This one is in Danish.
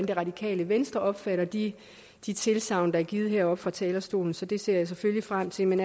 det radikale venstre opfatter de de tilsagn der er givet heroppe fra talerstolen så det ser jeg selvfølgelig frem til men